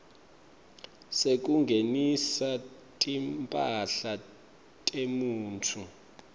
sekungenisa timphahla temuntfu